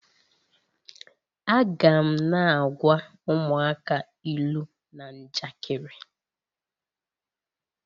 Aga m na-agwa ụmụaka ilu na njakịrị.